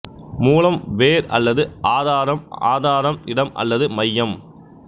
மூலம் வேர் அல்லது ஆதாரம் ஆதாரம் இடம் அல்லது மையம்